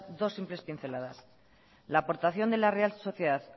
dos simples pinceladas la aportación de la real sociedad